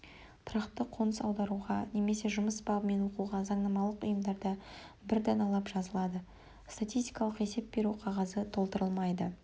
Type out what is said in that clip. тұрақты қоныс аударуға немесе жұмыс бабымен оқуға заңнамалық ұйымдарда бір даналап жазылады статистикалық есеп беру қағазы толтырылмайды